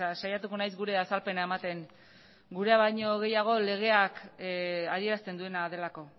saiatuko naiz gure azalpena ematen gurea baino gehiago legeak adierazten duena delako